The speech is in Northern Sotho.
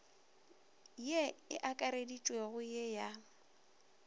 ye e akareditšwego ye ya